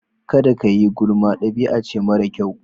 Kada kayi gulma dabi'ace mara kyau.